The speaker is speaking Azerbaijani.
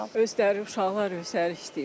Öz dəri uşaqlar özləri istəyiblər.